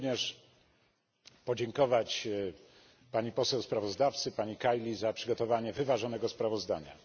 Chcę również podziękować pani poseł sprawozdawcy, pani Kaili, za przygotowanie wyważonego sprawozdania.